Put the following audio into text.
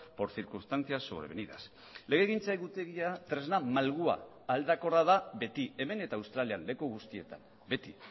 por circunstancias sobrevenidas legegintza egutegia tresna malgua aldakorra da beti hemen eta australian leku guztietan beti